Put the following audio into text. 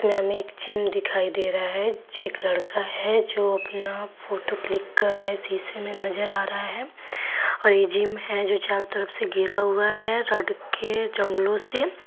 हमें एक जिम दिखाई दे रहा है एक लड़का है जो अपना फोटो क्लिक कर रहा है शीशे में नजर आ रहा है और यह जिम है जो चारों तरफ से घिरा हुआ है रॉड के जंगलों से।